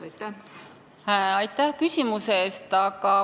Aitäh küsimuse eest!